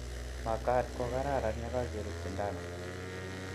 makad ko kararan ye kakerut sindano.